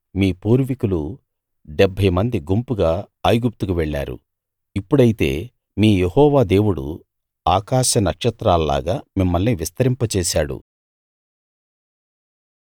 మీ పూర్వీకులు 70 మంది గుంపుగా ఐగుప్తుకు వెళ్ళారు ఇప్పుడైతే మీ యెహోవా దేవుడు ఆకాశనక్షత్రాల్లాగా మిమ్మల్ని విస్తరింపజేశాడు